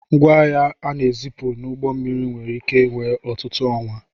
Ngwaahịa a na-ezipụ n'ụgbọ mmiri nwere ike wee ọtụtụ ọnwa.